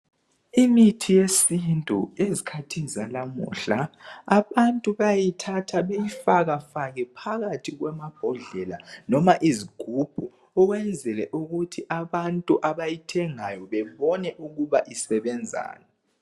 Imithi yesintu, ezikhathini zalamuhla .Abantu bayayithatha beyifaka fake phakathi kwamabhodlela noma izigubhu ukwenzela ukuthi abantu abayithengayo bebone ukuba isebenzani.